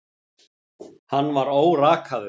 Hann var órakaður.